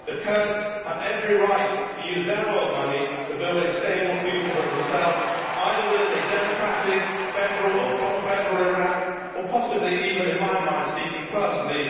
The Kurds have every right to use their oil money to build a stable future for themselves either within a democratic, federal or confederal Iraq, or possibly even in my mind, speaking personally...